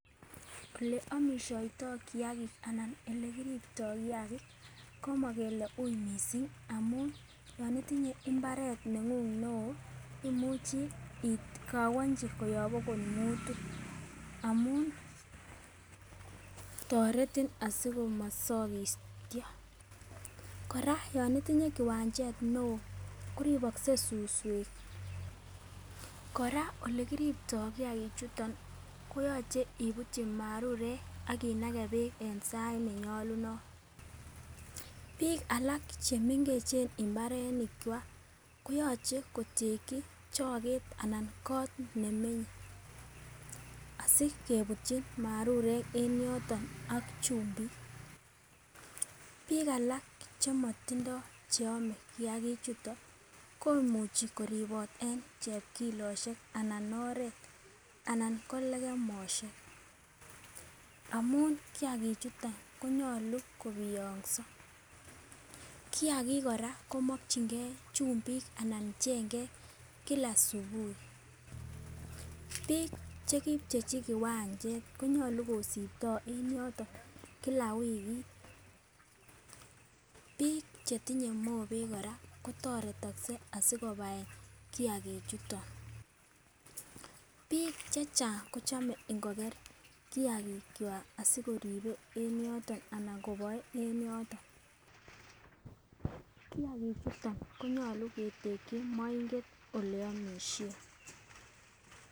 Ole omishoito kiyagik anan ole kiripto kiyagik komo kele wui missing amun yon itinye imbaret nengung neo imuchi ikowonchi koyob okot mutu amun toreti asikomosokityo. Koraa yon itinye kiwanchet neo koribokse suswek, koraa olekiripto kiyagik chuto koyoche ibutyi marurek ak inagee beek en sait nenyolunot. Bik alak chemengechen imbarenik kwak koyoche kotei choket anan ko kot nemenye asikebutyi marurek e n yoton ak chumbik. Bik alak chemotindo yeome kiagik chuton komuchi koribot en chepkiloshek anan oret anan ko lekemoshek amun kiyakik chuton konyolu kopiyokso. Kiyaki koraa komokingee chumbik anan chengek kila subui, bik chekipchechi kiwanche kinyolu kosiptoo kila wiki. Bik chetinye mobek koraa kotoretokse asikobai kiyagik chuton, bik chechnag kochome ngoker kiyagik kwak sikoribe en yoton anan koboe en yoton kiyagik chuton konyolu ketekii moiget oleomishen.